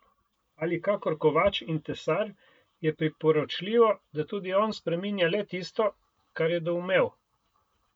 Ali kakor kovač in tesar je priporočljivo, da tudi on spreminja le tisto, kar je doumel.